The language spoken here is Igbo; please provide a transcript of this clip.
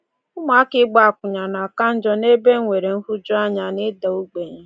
Ụmụaka ịgba akwụna na-aka njọ n’ebe e nwere nhụjuanya na ịda ogbenye.